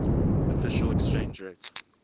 official exchange rate